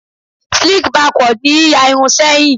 Sleek backward ni yíya irun sẹ́yìn.